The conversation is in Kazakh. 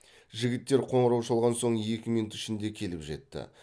жігіттер қоңырау шалған соң екі минут ішінде келіп жетті